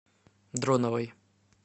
дроновой